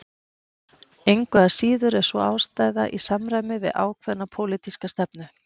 Engu að síður er sú ástæða í samræmi við ákveðna pólitíska stefnu